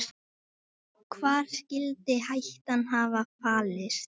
Hvar skyldi hættan hafa falist?